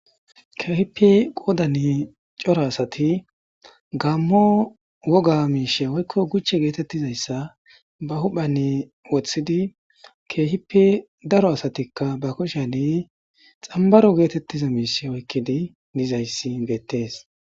Keehippe qoodan cora asati gaammo woga miishshe woykko guchche geetettizayssa ba huphphen woththidi keehippe daro asatikka ba kushen xambbaro geetettiza miishshi oykkidi dizayssi beettes.